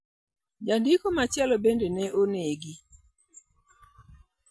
Jandiko machielo bende ne onegi.